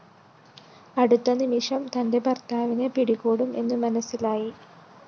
അടുത്തനിമിഷം തന്റെ ഭര്‍ത്താവിനെ പിടികൂടും എന്നു മനസ്സിലായി